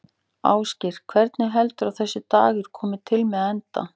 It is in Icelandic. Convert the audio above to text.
Ásgeir: Hvernig heldurðu að þessi dagur komi til með að enda?